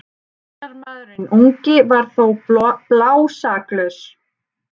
Varnarmaðurinn ungi var þó blásaklaus.